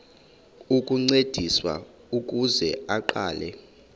ukuncediswa ukuze aqale